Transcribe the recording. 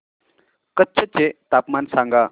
कच्छ चे तापमान सांगा